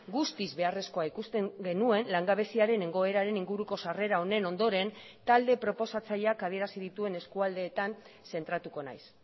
guztiz beharrezkoa ikusten genuen langabeziaren egoeraren inguruko sarrera honen ondoren talde proposatzaileak adierazi dituen eskualdeetan zentratuko naiz